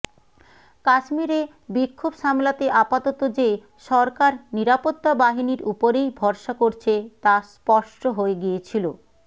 কাশ্মীরে বিক্ষোভ সামলাতে আপাতত যে সরকার নিরাপত্তা বাহিনীর উপরেই ভরসা করছে তা স্পষ্ট হয়ে গিয়েছিল